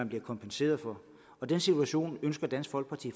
bliver kompenseret for og den situation ønsker dansk folkeparti